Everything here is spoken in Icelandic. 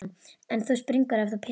En þú springur ef þú pissar ekki.